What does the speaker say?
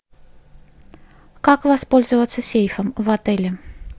как воспользоваться сейфом в отеле